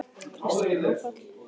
Kristján: Áfall?